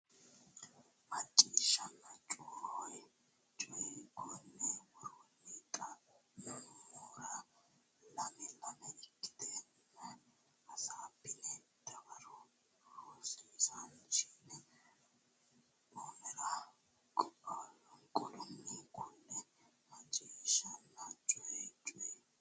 Macciishshanna Coyi Coyi Konni woroonni xa mora lame lame ikkitine hasaabbine dawaro rosiisaanchi o nera qaalunni kulle Macciishshanna Coyi Coyi.